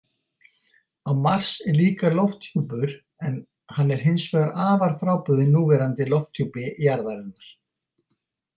Á Mars er líka lofthjúpur, en hann er hins vegar afar frábrugðinn núverandi lofthjúpi jarðarinnar.